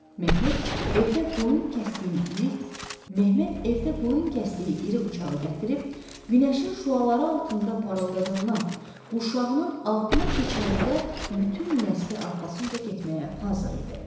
Məhməd evdə qoyun kəsdiyi irik, Məhməd evdə qoyun kəsdiyi iri bıçağı gətirib, günəşin şüaları altında parıldadandan quşağının altına keçirəndə bütün nəsli arxasınca getməyə hazır idi.